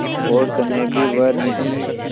और स्नेह भी वह नहीं